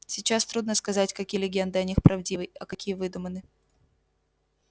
сейчас трудно сказать какие легенды о них правдивы а какие выдуманы